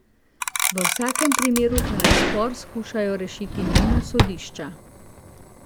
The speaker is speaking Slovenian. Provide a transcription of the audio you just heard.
V vsakem primeru pa naj spor skušajo rešiti mimo sodišča.